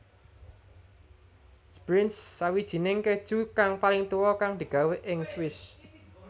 Sbrinz Sawijining keju kang paling tuwa kang digawé ing Swiss